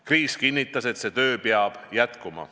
Kriis kinnitas, et see töö peab jätkuma.